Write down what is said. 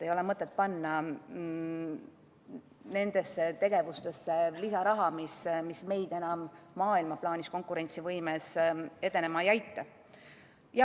Ei ole mõtet panna lisaraha nendesse tegevustesse, mis meil maailma plaanis konkurentsivõimes enam edeneda ei aita.